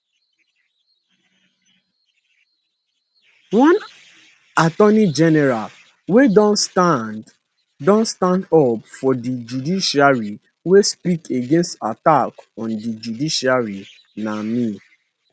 one attorney general wia don stand don stand up for di judiciary wia speak against attack on di judiciary na me